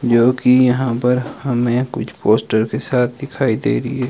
जो कि यहां पर हमें कुछ पोस्टर के साथ दिखाई दे रही है।